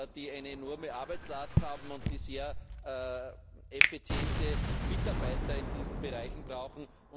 die eine enorme Arbeitslast haben und die sehr effiziente Mitarbeiter in diesen Bereichen brauchen.